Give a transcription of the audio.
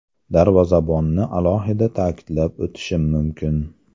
Darvozabonni alohida ta’kidlab o‘tishim mumkin.